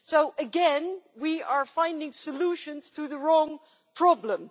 So again we are finding solutions to the wrong problem.